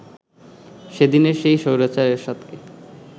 সেদিনের সেই স্বৈরাচার এরশাদকে